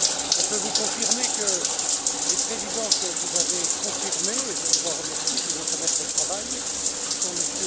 Je peux vous annoncer que les présidents que vous avez confirmés et je vous en remercie et qui vont se mettre au travail, sont M.